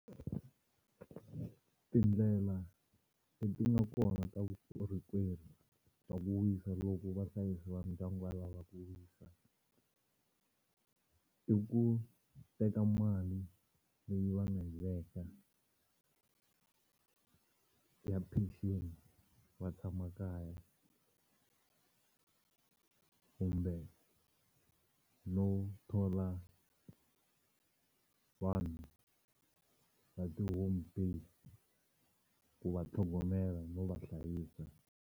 Tindlela leti nga kona ta vukorhokeri bya ku wisa loko vahlayisi va ndyangu va lava ku wisa i ku teka mali leyi va nga yi veka ya pension va tshama kaya kumbe no thola vanhu va ti-home base ku va tlhogomela no va hlayisa.